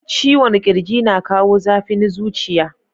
Ciwon kirji na kawo zafin zuciya.